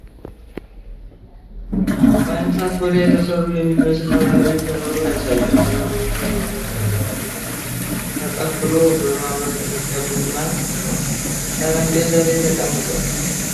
ከ እንስሳት ቆዳ የተሠራ የሚመስል ባህላዊ ከበሮ ያሳያል፤ ከበሮውም በ ቆዳ ገመዶች ተጠፍሮ፣ በ ሚያብረቀርቅ ቡናማ ጠረጴዛ ላይ ተቀምጧል ?